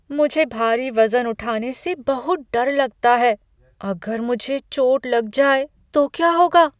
मुझे भारी वजन उठाने से बहुत डर लगता है। अगर मुझे चोट लग जाए तो क्या होगा?